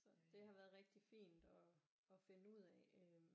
Så det har været rigtig fint at finde ud af øh